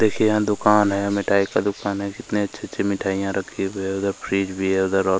देखिए यहाँ दुकान है मिठाई का दुकान है कितने अच्छे अच्छे मिठाइया रखी हुए है उधर फ्रिज भी है उधर और--